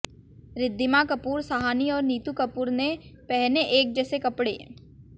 रिद्धिमा कपूर साहनी और नीतू कपूर ने पहने एक जैसे कपड़े